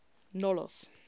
nolloth